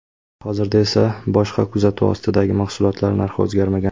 Hozirda esa boshqa kuzatuv ostidagi mahsulotlar narxi o‘zgarmagan.